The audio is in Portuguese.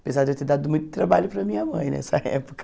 Apesar de eu ter dado muito trabalho para minha mãe nessa época.